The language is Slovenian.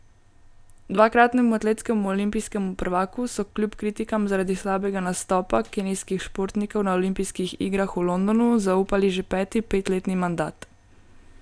Dvakratnemu atletskemu olimpijskemu prvaku so kljub kritikam zaradi slabega nastopa kenijskih športnikov na olimpijskih igrah v Londonu zaupali že peti petletni mandat.